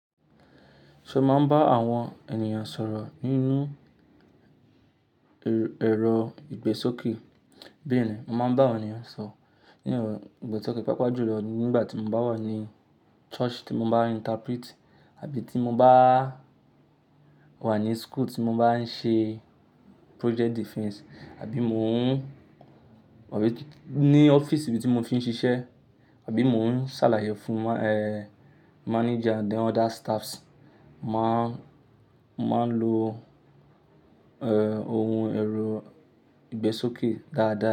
Ṣé o máa ń bá àwọn ènìyàn sọ̀rọ̀ nínú ẹ̀rọ ìgbésókè? Bẹ́ẹ̀ni, mo máa ń bá àwọn ènìyàn sọ̀rọ̀ nínú ẹ̀rọ ìgbésókè, pàápàá jùlọ nígbà tí mo bá wà ní church tí mo bá n interpret, àbí tí mo bá wà ní school tí mo bá ń ṣe project defense, àbí mo ń Àbí ní office ibi tí mo ti ń ṣiṣẹ́, àbí mo ń ṣàlàyé fún, eeh, manager then other staffs, mà á, mà n lo, ẹẹ́, ohun ẹ̀rọ ìgbésókè dáadáa.